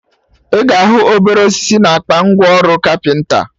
Ị ga ahụ obere osisi na akpa ngwa ọrụ kapịnta